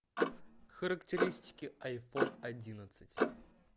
характеристики айфон одиннадцать